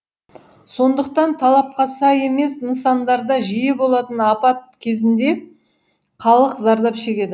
сондықтан талапқа сай емес нысандарда жиі болатын апат кезінде халық зардап шегеді